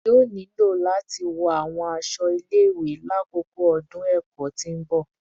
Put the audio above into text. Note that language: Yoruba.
Yoo nilo lati wọ awọn aṣọ ile-iwe lakoko ọdun ẹkọ ti n bọ